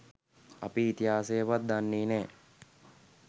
අපෙ ඉතිහාසයවත් දන්නේ නෑ